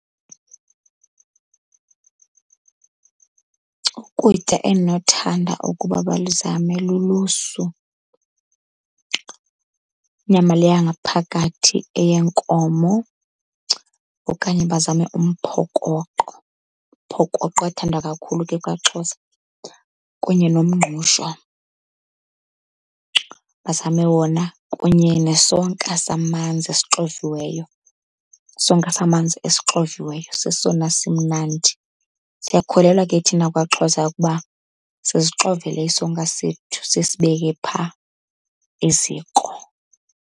Ukutya endinothanda ukuba baluzame lulusu, inyama le yangaphakathi eyenkomo. Okanye bazame umphokoqo, umphokoqo uyathandwa kakhulu ke kwaXhosa. Kunye nomngqusho bazame wona, kunye nesonka samanzi esixoviweyo. Isonka samanzi esixoviweyo sesona simnandi. Siyakholelwa ke thina kwaXhosa ukuba sizixovele isonka sethu sisibeke phaa eziko.